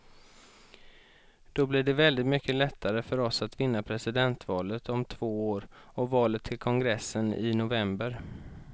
Då blir det väldigt mycket lättare för oss att vinna presidentvalet om två år och valet till kongressen i november.